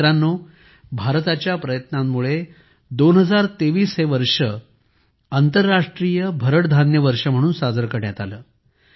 मित्रांनो भारताच्या प्रयत्नांमुळे 2023 हे वर्ष आंतरराष्ट्रीय भरड धान्य वर्ष म्हणून साजरे करण्यात आले